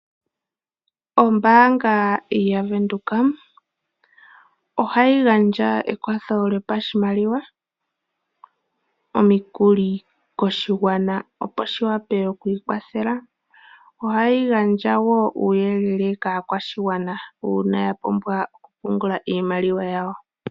Ombaanga yavenduka ohayi gandja ekwatho lyopashimaliwa, omikuli koshigwana opo shi wape okwii kwathele. Ohayi gandja woo uuyelele kaa kwashigwana uuna ya pumbwa oku pungula iimaliwa yawo.